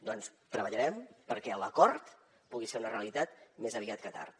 doncs treballarem perquè l’acord pugui ser una realitat més aviat que tard